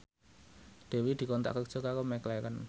Dewi dikontrak kerja karo McLarren